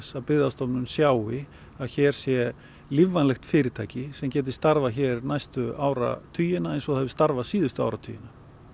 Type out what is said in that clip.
að Byggðastofnun sjái að hér sé lífvænlegt fyrirtæki sem gæti starfað hér næstu áratugina eins og það hefur starfað síðustu áratugina